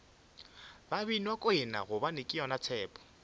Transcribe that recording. babinakwena gobane ke yona tshepo